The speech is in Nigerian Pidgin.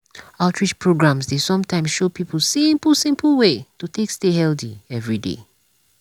outreach programs dey sometimes show people simple simple way to take stay healthy every day.